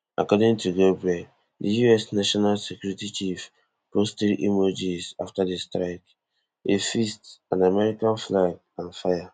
according to goldberg di us national security chief post three emojis afta di strike a fist an american flag and fire